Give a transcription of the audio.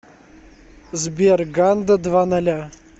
сбер ганда два ноля